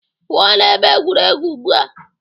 Pụo na ebe egwuregwu ugbu a!